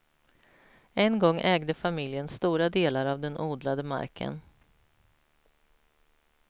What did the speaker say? En gång ägde familjen stora delar av den odlade marken.